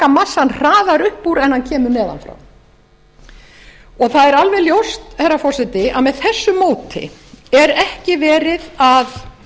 massann hraðar upp úr en hann kemur neðan frá það er alveg ljóst herra forseti að með þessu móti er ekki verið að